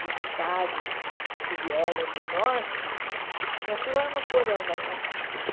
voluntários que vieram do Norte e punha tudo lá no porão da minha casa.